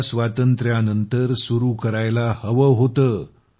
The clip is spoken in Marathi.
तिला स्वातंत्र्यानंतर सुरू करायला हवं होतं